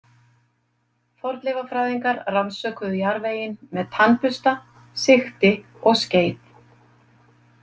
Fornleifafræðingar rannsökuðu jarðveginn með tannbursta, sigti og skeið.